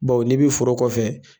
Bawo n'i bɛ foro kɔfɛ